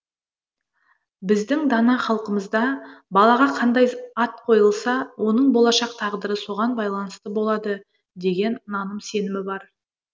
біздің дана халқымызда балаға қандай ат қойылса оның болашақ тағдыры соған байланысты болады деген наным сенімі бар